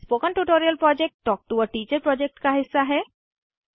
spoken tutorial project talk to a teacher project का हिस्सा है